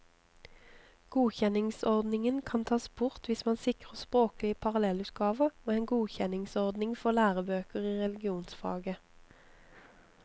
Godkjenningsordningen kan tas bort hvis man sikrer språklige parallellutgaver og en godkjenningsordning for lærebøker i religionsfaget.